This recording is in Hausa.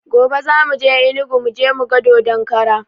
Gobe za muje enugu muje muga dodon kara